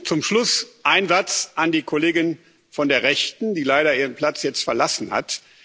Zum Schluss einen Satz an die Kollegin von der Rechten, die leider ihren Platz jetzt verlassen hat.